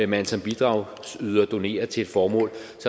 man som bidragsyder donerer til et formål